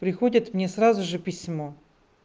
приходит мне сразу же письмо